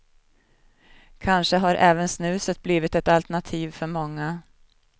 Kanske har även snuset blivit ett alternativ för många.